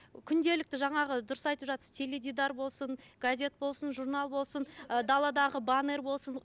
күнделікті жаңағы дұрыс айтып жатырсыз теледидар болсын газет болсын журнал болсын і даладағы банер болсын